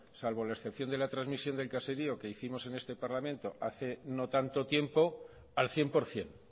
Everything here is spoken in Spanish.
salvo la excepción de la trasmisión del caserío que hicimos en este parlamento hace no tanto tiempo al cien por ciento